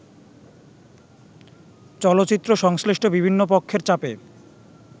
চলচ্চিত্রসংশ্লিষ্ট বিভিন্ন পক্ষের চাপে